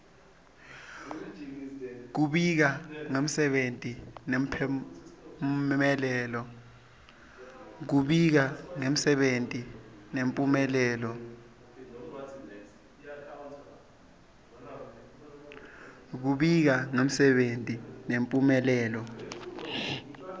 kubika ngemsebenti nemphumelelo